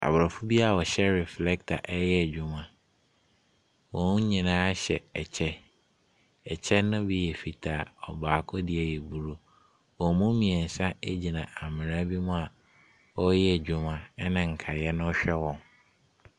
Aborɔfo bi a wɔhyɛ reflector reyɛ adwuma. Wɔn nyinaa hyɛ kyɛ. Ɛkyɛ no bi yɛ fitaa. Ɔbaako deɛ yɛ blue. Wɔn mu mmeɛnsa gyina amena bi mu a wɔreyɛ adwuma na nkaeɛ no rehwɛ wɔn.